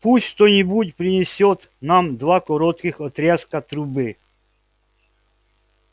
пусть кто-нибудь принесёт нам два коротких отрезка трубы